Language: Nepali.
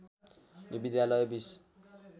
यो विद्यालय बिस